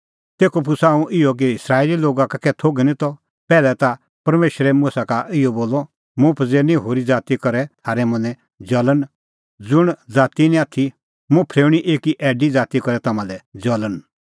तेखअ पुछ़ा हुंह इहअ कि इस्राएले लोगा का कै थोघै निं त पैहलै ता परमेशरै मुसा का इहअ बोलअ मुंह पज़ेरनी होरी ज़ाती करै थारै मनैं ज़ल़ण ज़ुंण ज़ाती निं आथी मुंह फरेऊणीं एकी ऐडी ज़ाती करै तम्हां लै ज़ल़ण